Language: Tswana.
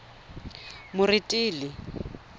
moretele